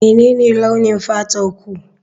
Menene launin fatarku?